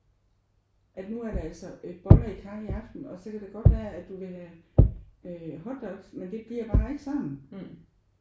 At nu er der altså øh boller i karry i aften og så kan det godt være at du ville have øh hotdogs men det bliver bare ikke sådan